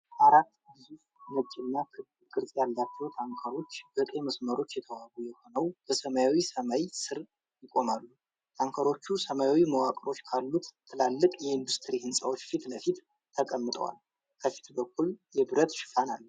አራት ግዙፍ ነጭና ክብ ቅርጽ ያላቸው ታንከሮች፣ በቀይ መስመሮች የተዋቡ ሆነው በሰማያዊ ሰማይ ስር ይቆማሉ። ታንከሮቹ ሰማያዊ መዋቅሮች ካሉት ትላልቅ የኢንዱስትሪ ሕንፃዎች ፊት ለፊት ተቀምጠዋል። ከፊት በኩል የብረት ሽፋን አለ፡፡